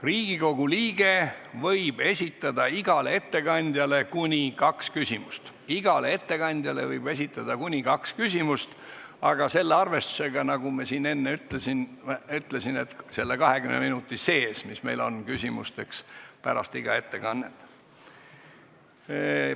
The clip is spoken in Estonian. Riigikogu liige võib esitada igale ettekandjale kuni kaks küsimust, aga selle arvestusega, nagu ma enne ütlesin, et selle 20 minuti sees, mis meil on küsimusteks aega iga ettekande järel.